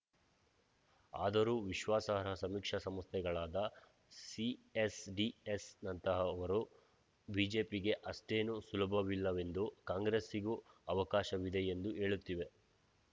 ಆದರೂ ವಿಶ್ವಾಸಾರ್ಹ ಸಮೀಕ್ಷಾ ಸಂಸ್ಥೆಗಳಾದ ಸಿಎಸ್‌ಡಿಎಸ್‌ನಂತಹವರು ಬಿಜೆಪಿಗೆ ಅಷ್ಟೇನೂ ಸುಲಭವಿಲ್ಲವೆಂದೂ ಕಾಂಗ್ರೆಸ್ಸಿಗೂ ಅವಕಾಶವಿದೆಯೆಂದೂ ಹೇಳುತ್ತಿವೆ